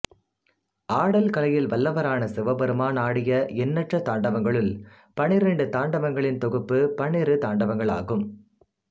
ஆடல் கலையில் வல்லவரான சிவபெருமான் ஆடிய எண்ணற்ற தாண்டவங்களுள் பனிரெண்டு தாண்டவங்களின் தொகுப்பு பன்னிரு தாண்டவங்களாகும்